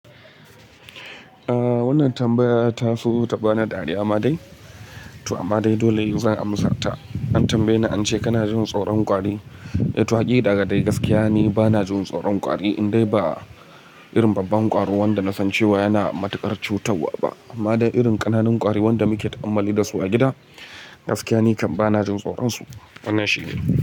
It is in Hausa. Ah wannan tambaya ta so ta bani dariya ma dai to amma dai dole zan amsa ta. An tambaye ni an ce kana jin tsaron kwari? To hakika daga dai gaskiya ne bana jin tsaron kwari indai ba irin babban kwaro wanda na san cewa yana matukar cutarwa ba amma dai irin ƙananun kwari wanda muke ta'ammali da su a gida gaskiya nake bana jin tsoronsu. Wannan shine.